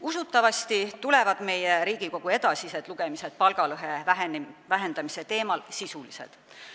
Usutavasti tulevad eelnõu edasised lugemised palgalõhe vähendamise teemal Riigikogus sisulised.